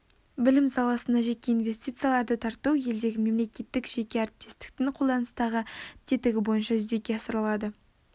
білім саласына жеке инвестицияларды тарту елдегі мемлекеттік жеке әріптестіктің қолданыстағы тетігі бойынша жүзеге асырылады